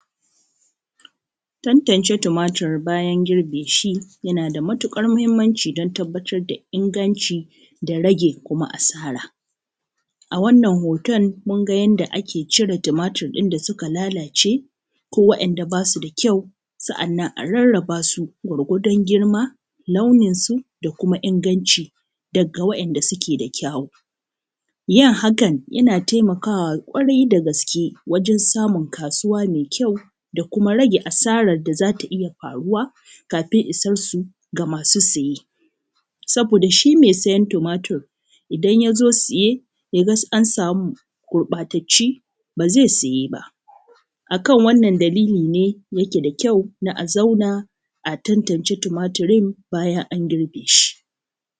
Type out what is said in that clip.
Tantance tumatir bayan girbe shi yanaa da matuƙar muhimmanci don tabbatar da inganci da rage kuma asara. A wannan hoton mun ga yadda ake cire tumatir ɗin da ya lalaace, ko waɗanda basu da kyau. Sa’annan a rarrabasu gwargwadon girma, launinsu da kumaa inganci daga waɗanda sukee da kyawu. Yin haka yanaa taimakawa ƙwarai da gaske wajen samun kaasuuwaa mai kyau, da kumaa rage asarar da za ta iya faruwa kafin isansu ga masu saye. Saboda shi mai sayen tumatir, idan ya zo saye ya ga an samu gurɓaatattuu, ba zai saye ba. Akan wannan dalilli nee yakee da kyau na a zaunaa a tantance tumatirin bayan an girbe shi. Akan wannan dalilli nee yakee da kyau na a zaunaa a tantance tumatirin bayan an girbe shi.